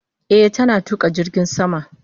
Eh, tana tuka jirgin sama.